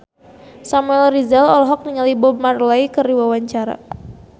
Samuel Rizal olohok ningali Bob Marley keur diwawancara